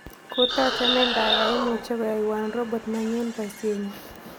Kotoochome ndagaiimuche koyaiwan robot nenyun boisienyun